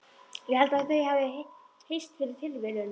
Ég held þau hafi hist fyrir tilviljun.